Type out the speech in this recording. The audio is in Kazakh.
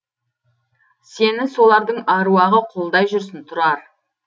сені солардың аруағы қолдай жүрсін тұрар